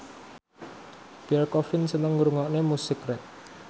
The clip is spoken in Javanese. Pierre Coffin seneng ngrungokne musik rap